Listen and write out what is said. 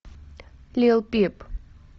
лил пип